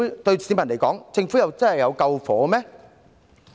對市民來說，政府真的有救火嗎？